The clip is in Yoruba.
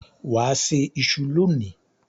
Wà á se iṣu lónìí.